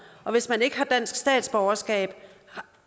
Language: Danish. og hvis man ikke har dansk statsborgerskab